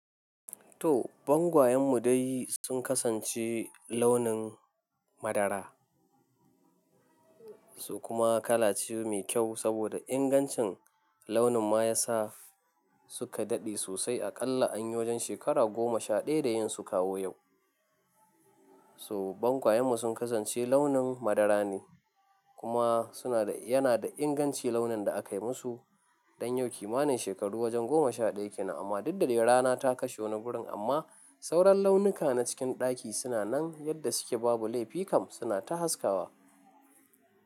To, bangayen mu dai sun kasance launin madara, su kuma kala ce mai kyau saboda ingancin launin ma ya sa suka dadi sosai aƙalla an yi wajen shekara goma sha daya da yin su kawo yau. So bangayen mu sun kasance launin madara ne, kuma suna da yana da inganci launin da aka yi musu. Don yau kimanin shekaru wajen goma sha daya kenan amma daddare rana ta kashe wani gurin amma sauran launuka na cikin ɗaki suna nan yadda suke babu laifi kam suna ta haskawa.